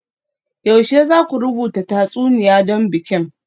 Yaushe za ku rubuta tatsuniya don bikin?